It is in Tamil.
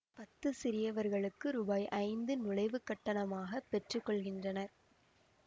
பத்து சிறியவர்களுக்கு ரூபாய் ஐந்து நுழைவுக் கட்டணமாகப் பெற்று கொள்கின்றனர்